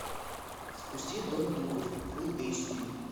запусти дом духов фул эйч ди